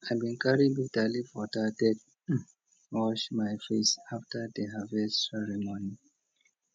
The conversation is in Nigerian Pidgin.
i bin carry bitterleaf water take wash my face after the harvest ceremony